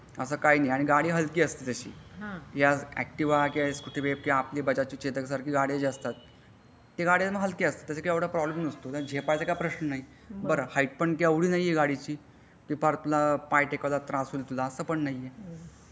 असा काही नाही गाडी हलकी असते तशी हि ऍक्टिव्ह सकूटी पेपट किंवा आपली बजाज ची चेतक अश्या गाड्या ज्या गाड्या त्या गाड्या हलक्या असतात त्याचा एवढा काही प्रॉब्लेम नसतो. ते परत पाय टेकवायला त्रास होईल असा काही नाही.